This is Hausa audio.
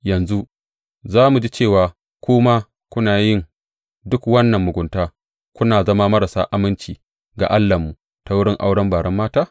Yanzu za mu ji cewa ku ma kuna yin duk wannan mugunta kuna zama marasa aminci ga Allahnmu ta wurin auren baren mata?